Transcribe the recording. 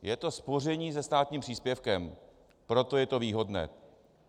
Je to spoření se státním příspěvkem, proto je to výhodné.